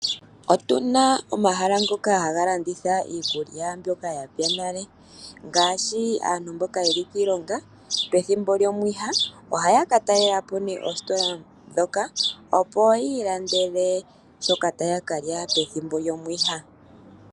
Otuna omahala ngoka haga landitha iikulya mbyoka yapya nale, ngaashi aantu mboka yeli kiilonga pethimbo lyomwiha, ohaya ka talelapo nee oositola ndhoka opo yi ilandele shoka taya kalya pethimbo lyomwiha.